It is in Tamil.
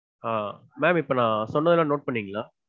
ஆஹ் ma'am. இப்போ நா சொன்னதெல்லாம் note பண்ணீங்களா?